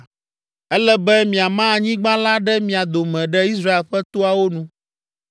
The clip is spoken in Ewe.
“Ele be miama anyigba la ɖe mia dome ɖe Israel ƒe toawo nu.